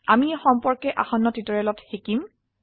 আমি এই সম্পৰ্কে আসন্ন টিউটৰিয়েল শিকিব